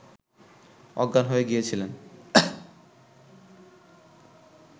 অজ্ঞান হয়ে গিয়েছিলেন